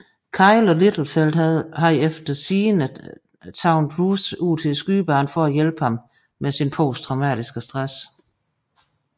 Kyle og Littlefield havde efter sigende taget Routh ud til skydebanen for at hjælpe ham med sin posttraumatiske stress